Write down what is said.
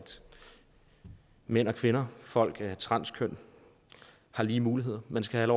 mænd og kvinder og folk af transkøn har lige muligheder man skal have